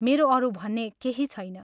मेरो अरू भन्ने केही छैन।